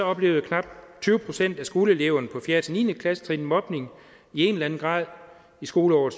oplevede knap tyve procent af skoleeleverne fra fjerde ni klassetrin mobning i en eller anden grad i skoleåret